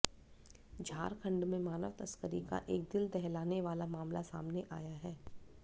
झारखंड में मानव तस्करी का एक दिल दहलाने वाला मामला सामने आया है